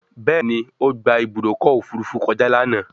Béèni o gbà Ibùdókọ̀ òfurufú kọjá lànà.